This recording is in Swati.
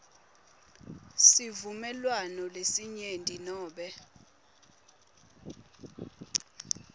sivumelwano selinyenti nobe